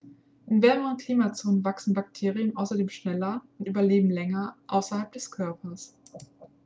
in wärmeren klimazonen wachsen bakterien außerdem schneller und überleben länger außerhalb des körpers